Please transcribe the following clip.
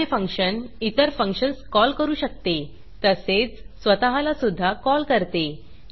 एखादे फंक्शन इतर functions call करू शकते तसेच स्वतःला सुध्दा कॉल करते